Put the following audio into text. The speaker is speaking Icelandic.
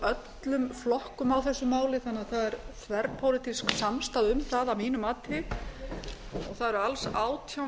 öllum flokkum á þessu máli þannig að það er þverpólitísk samstaða um það að mínu mati yrðu eru alls átján